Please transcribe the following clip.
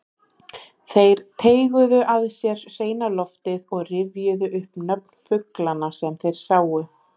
Þeir teyguðu að sér hreina loftið og rifjuðu upp nöfn fuglanna sem þeir sáu.